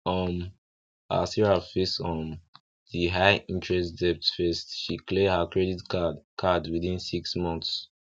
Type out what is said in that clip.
um as sarah face um di high interest debt first she clear her credit card card within six months